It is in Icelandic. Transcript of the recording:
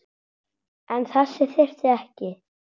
En þess þyrfti ekki.